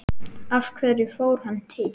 Af hverju fór hann til